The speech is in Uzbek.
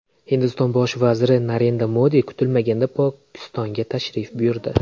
Hindiston bosh vaziri Narendra Modi kutilmaganda Pokistonga tashrif buyurdi.